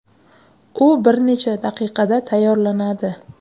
U bir necha daqiqada tayyorlanadi.